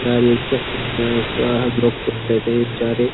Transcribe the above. यार ये भी क्या फोन है इसको हम लोग तोड़ लेते हैं ये बेचारे --